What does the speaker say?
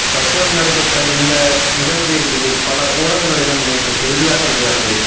ரஷ்யாவில் நடைபெற்ற இந்த நிகழ்வு இது பல ஊடகங்களிலும் நேற்று செய்தியாக வெளியானது